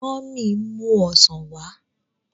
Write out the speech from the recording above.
Mummy n mu ọsán wá.